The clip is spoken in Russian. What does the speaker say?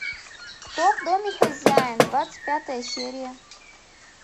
кто в доме хозяин двадцать пятая серия